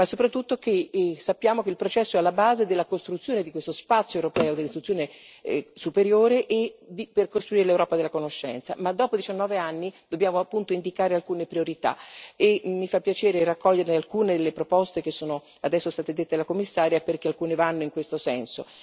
Ma soprattutto sappiamo che il processo è alla base della costruzione di questo spazio europeo dell'istruzione superiore e della realizzazione dell'Europa della conoscenza. Tuttavia, dopo 19 anni, dobbiamo indicare alcune priorità e mi fa piacere raccogliere alcune delle proposte che sono adesso state suggerite alla Commissaria, perché alcune vanno in questo senso.